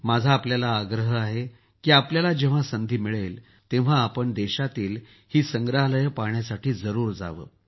माझा आपल्याला आग्रह आहे की आपल्याला जेव्हा संधी मिळेल तेव्हा आपण देशातील ही स संग्रहालये पहाण्यासाठी जरूर यावं